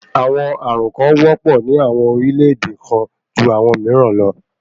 Àwọn ààrùn kàn wọ́pọ̀ ní àwọn orílẹ̀-èdè kan ju àwọn mìíràn lọ.